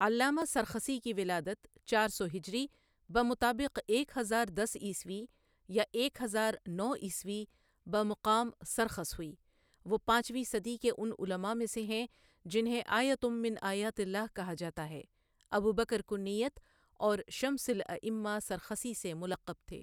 علامہ سرخسی کی ولادت چار سو ہجری بمطابق ایک ہزار دس عیسوی یا ایک ہزار نو عیسوی بمقام سرخس ہوئی وہ پانچویں صدی کے ان علما سے ہیں جنہیں آیۃمن آیات اللہ کہا جاتا ہے ابو بکر کنیت اور شمس الائمہ سرخسی سے ملقب تھے ۔